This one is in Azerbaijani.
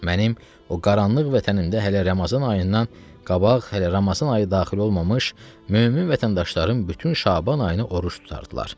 Mənim o qaranlıq vətənimdə hələ Ramazan ayından qabaq, hələ Ramazan ayı daxil olmamış mömin vətəndaşlarım bütün Şaban ayını oruc tutardılar.